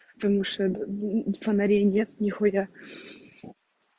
потому что д фонарей нет нихуя